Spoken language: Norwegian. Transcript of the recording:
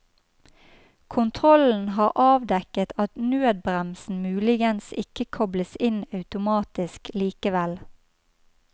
Kontrollen har avdekket at nødbremsen muligens ikke kobles inn automatisk likevel.